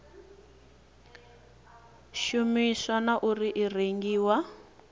shumisiwa na uri i rengiwa